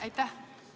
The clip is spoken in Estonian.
Aitäh!